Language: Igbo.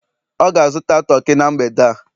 ọ ga-azụta toki na mgbede a